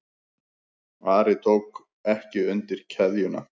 Ari tók ekki undir kveðjuna.